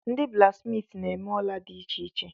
Ndị blaksmiiti na-eme ola dị iche iche.